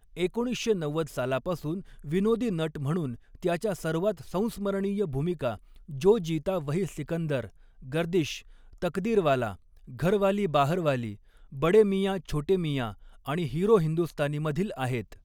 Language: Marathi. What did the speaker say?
एकोणीसशे नव्वद सालापासून विनोदी नट म्हणून त्याच्या सर्वात संस्मरणीय भूमिका 'जो जीता वही सिकंदर', 'गर्दिश', 'तकदीरवाला', 'घरवाली बाहरवाली', 'बड़े मियां छोटे मियां' आणि 'हिरो हिंदुस्तानी'मधील आहेत.